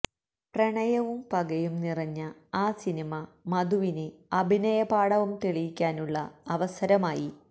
പ്രണയവും പകയും നിറഞ്ഞ ആ സിനിമ മധുവിന് അഭിനയപാടവം തെളിയിക്കാനുള്ള അവസരമായി